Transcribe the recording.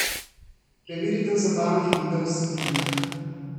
Preverite v zabavnih video vsebinah!